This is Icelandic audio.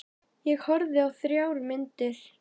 Ég horfði á þrjár myndir.